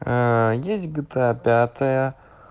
есть гта пятая